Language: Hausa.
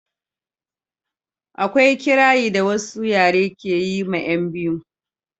akwai kirari da wasu yare ke yi ma 'yan biyu